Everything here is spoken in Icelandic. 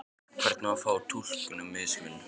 Hvernig eigum við þá að túlka mismun?